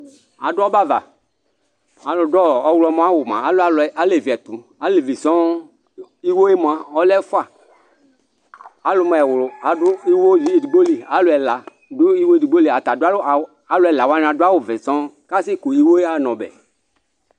Adʋ ɔbɛ ava alʋdʋ ɔwlɔmɔ awʋ mʋa alɛ alevi ɛtʋ elevi sɔŋ iwo yɛ mʋa ɔlɛ ɛfʋa alʋ mʋ ɛwlʋ adʋ iwo edigboli alʋ ɛla dʋ iwo edigboli alʋ ɛla wani ata adʋ awʋvɛ sɔŋ kʋ asɛkʋ iwo yaxa na ɔbɛ